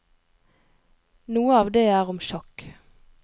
Noe av det er om sjakk.